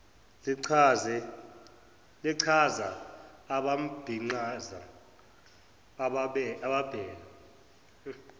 lichaza abambiqhaza ababheke